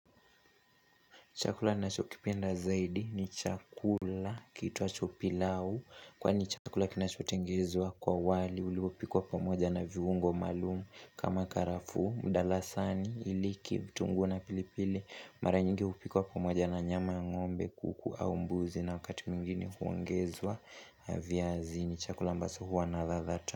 Chakula na chokipenda zaidi ni chakula kiitwacho pilau. Kwani ni chakula kinachotengezwa kwa wali. Uliopikwa pamoja na viungo maalumu kama karafuu. Mdalasani, iliki, vitunguu na pilipili. Mara nyingi hupikuwa pamoja na nyama ya ngombe, kuku au mbuzi. Na wakati mwingine huongezwa viazi ni chakula ambacho huwa na radha ta.